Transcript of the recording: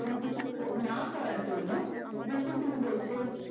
কোন কিছু না করার জন্য যেরকম তুমি বলছো